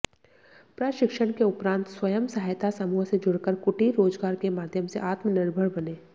प्रशिक्षण के उपरांत स्वयं सहायता समूह से जुड़कर कुटीर रोजगार के माध्यम से आत्मनिर्भर बनें